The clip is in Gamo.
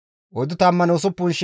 Simoona zarkkefe 59,300,